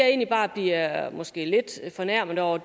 egentlig bare bliver måske lidt fornærmet over